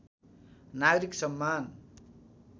नागरिक सम्मान